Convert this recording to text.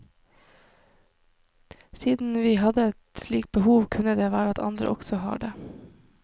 Siden vi hadde et slikt behov, kunne det være at andre også har det.